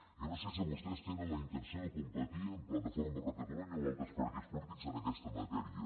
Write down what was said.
jo no sé si vostès tenen la intenció de competir amb plataforma per catalunya o altres partits polítics en aquesta matèria